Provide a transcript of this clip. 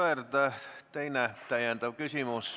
Aivar Sõerd, täpsustav küsimus.